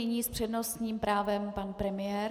Nyní s přednostním právem pan premiér.